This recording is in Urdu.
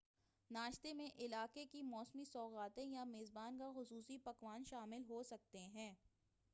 ناشتے میں علاقے کی موسمی سوغاتیں یا میزبان کا خصوصی پکوان شامل ہوسکتے ہیں